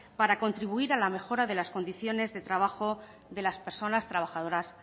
para contribuir a la mejora de las condiciones de trabajo de las personas trabajadoras